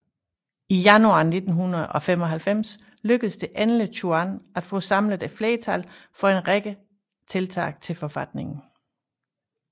I januar 1995 lykkes det endelig Chuan at få samlet flertal for en række tillæg til forfatningen